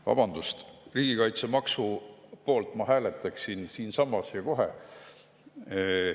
Vabandust, riigikaitsemaksu poolt ma hääletaksin siinsamas ja kohe.